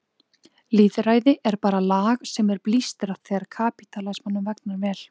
Lýðræði er bara lag sem er blístrað þegar kapítalismanum vegnar vel.